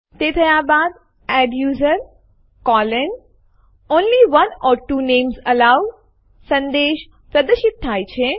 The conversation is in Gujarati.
તે થયા બાદ adduser160 only one or two names allowed સંદેશ પ્રદર્શિત થાય છે